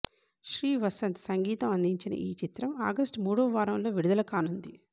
శ్రీ వసంత్ సంగీతం అందించిన ఈ చిత్రం ఆగస్ట్ మూడవ వారంలో విడుదల కానుంది